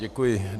Děkuji.